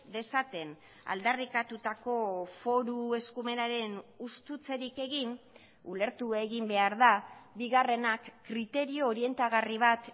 dezaten aldarrikatutako foru eskumenaren hustutzerik egin ulertu egin behar da bigarrenak kriterio orientagarri bat